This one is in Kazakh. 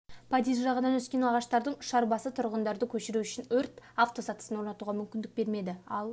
подъезд жағынан өскен ағаштардың ұшар басы тұрғындарды көшіру үшін өрт автосатысын орнатуға мүмкіндік бермеді ал